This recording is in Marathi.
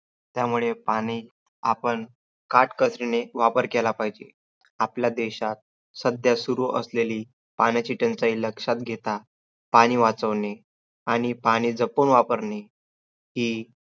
यामुळे पाणी आपण काटकसरीने वापर केला पाहिजे. आपल्या देशात सध्या सुरु असलेली पाण्याची टंचाई लक्षात घेता पाणी वाचवणे आणि पाणी जपूण वापरणे हि